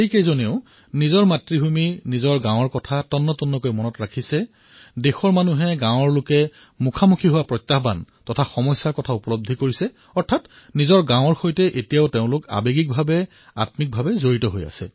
বহু বছৰ পূৰ্বে তেওঁ হয়তো ভাৰতৰ পৰা গুচি গৈছিল কিন্তু তথাপিও নিজৰ গাঁওখনক ভালকৈ জানে প্ৰত্যাহ্বানসমূহৰ বিষয়ে জানে আৰু গাঁৱৰ সৈতে আবেগিকভাৱে জড়িত